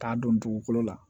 K'a don dugukolo la